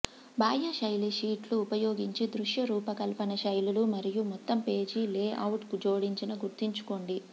బాహ్య శైలి షీట్లు ఉపయోగించి దృశ్య రూపకల్పన శైలులు మరియు మొత్తం పేజీ లేఅవుట్ జోడించిన గుర్తుంచుకోండి